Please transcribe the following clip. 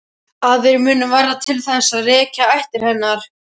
Aðrir munu verða til þess að rekja ættir hennar.